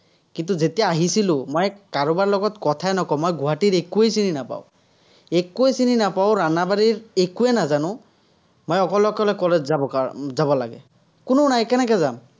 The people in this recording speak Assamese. কিন্তু যেতিয়া আহিছিলো, মই কাৰোবাৰ লগত কথায়ে নকও, মই গুৱাহাটীৰ একোৱেই চিনি নাপাওঁ। একোৱেই চিনি নাপাঁও, একোৱেই নাজানো। মই অকলে অকলে college যাবৰ যাব লাগে। কোনো নাই, কেনেকে যাম।